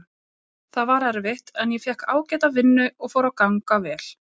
Það var erfitt en ég fékk ágæta vinnu og fór að ganga vel.